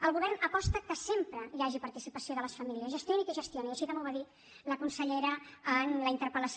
el govern aposta perquè sempre hi hagi participació de les famílies gestioni qui gestioni i així també ho va dir la consellera en la interpel·lació